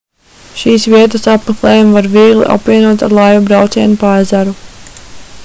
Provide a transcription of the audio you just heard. šīs vietas apmeklējumu var viegli apvienot ar laivu braucienu pa ezeru